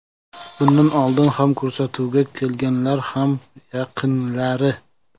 Bundan oldin ham ko‘rsatuvga kelganlar ham yaqinlari.